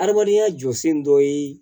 Adamadenya jɔsen dɔ ye